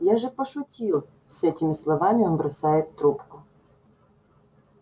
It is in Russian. я же пошутил с этими словами он бросает трубку